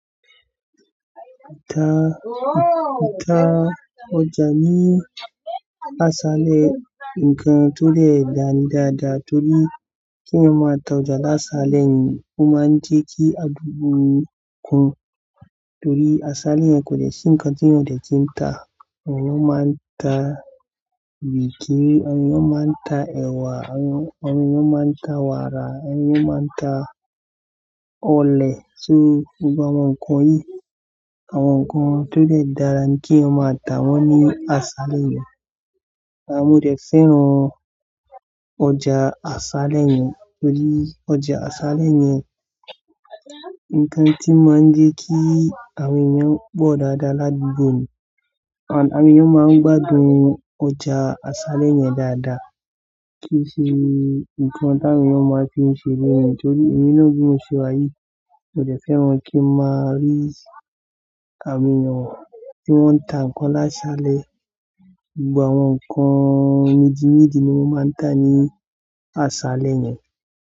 Ta, ta ọjà ní aṣálẹ̀ nǹkan tó le dáadáa torí kí á máa ta ọjà aṣálẹ̀ ni ó máa ń jẹ́kí àdúgbò kún. Torí aṣálẹ̀ yẹn kò dẹ̀ sì nkán tí èèyàn ó dẹ̀ kí n tà. Àwọn èyàn máa ń ta bíìkì, àwọn èyàn máa ń ta ẹwà, àwọn èyàn, àwọn èyàn máa ń ta wàrà, à wọn èyàn máa ń ta ọlẹẹ, so gbogbo àwọn nkan yìí àwọn nkan tó de dára kí èèyàn máa tà wọ́n aṣálẹ̀, mo dẹ̀ fẹ́ràn. Ọjà aṣálẹ̀ yẹn torí ọjà aṣálẹ̀ yẹn nǹkan tí máa ń jẹ́ kí àmì yẹn pọ̀ dáadáa ládùúgbò mi. And àwọn èyàn máa ń gbádùn ọjà aṣálẹ̀ yẹn dáadáa kí í ṣe nǹkan tí àwọn èyàn wọn máa ń fi ṣeré ni, torí èmi náà bí mo ṣe yìí. Mo dẹ̀ fẹ́ràn kí n máa rí àwọn èèyàn tí wọ́n ń tà nǹkan láṣálẹ̀. Gbogbo àwọn nǹkan méjì méjì ni wọ́n máa ń tà ní aṣálẹ̀ yẹn.